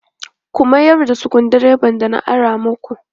Ka miyar da sukuru dreban da na ara makp